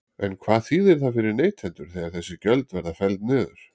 En hvað þýðir það fyrir neytendur þegar þessi gjöld verða felld niður?